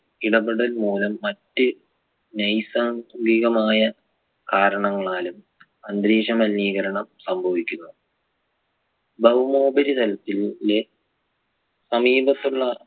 ഇടപെടൽ മൂലം മറ്റ് നൈസാന്തികമായ കാരണങ്ങളാലും അന്തരീക്ഷ മലിനീകരണം സംഭവിക്കുന്നു. ഭൗമോപരിതലത്തിലെ സമീപത്തുള്ള